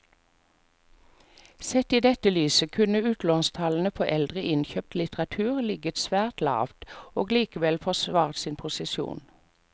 Sett i dette lyset kunne utlånstallene for eldre innkjøpt litteratur ligget svært lavt og likevel forsvart sin posisjon.